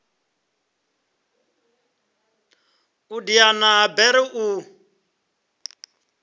u diana ha bere u